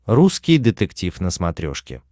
русский детектив на смотрешке